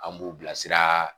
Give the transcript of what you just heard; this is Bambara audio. An b'u bilasira